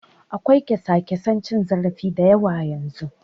Akwai kyasa-kyasan cin zarafi da yawa yanzu.